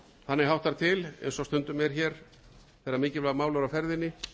þannig háttar til eins og stundum er hér þegar mikilvæg mál eru á ferðinni